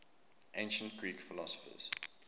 ancient greek philosophers